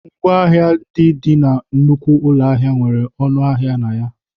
Ngwaahịa ndị dị na nnukwu ụlọ ahịa nwere ọnụ ahịa na ya.